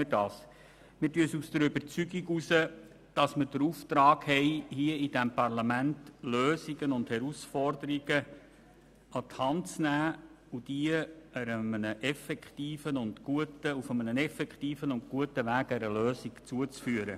Wir folgen dem Regierungsrat aufgrund der Überzeugung, dass wir den Auftrag haben, als Parlament Herausforderungen an die Hand zu nehmen und diese auf einem effektiven und guten Weg einer Lösung zuzuführen.